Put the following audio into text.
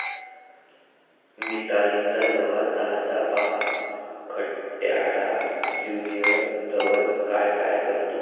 मितालीचा नवा चाहता, पहा खट्याळ ज्य़ुनिअर धवन काय काय करतो!